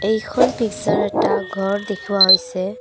এইখন পিকচাৰ এটা ঘৰ দেখুওৱা হৈছে।